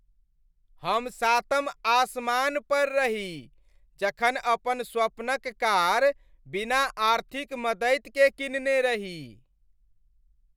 हम सातम आसमान पर रही जखन अपन स्वपन क कार बिना आर्थिक मददि के किनने रही ।